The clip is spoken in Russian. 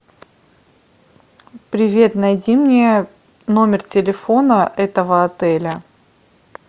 привет найди мне номер телефона этого отеля